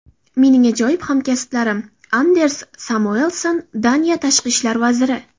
Mening ajoyib hamkasblarim”, Anders Samuelsen, Daniya tashqi ishlar vaziri.